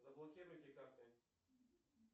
заблокируйте карты